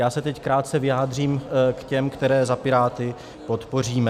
Já se teď krátce vyjádřím k těm, které za Piráty podpoříme.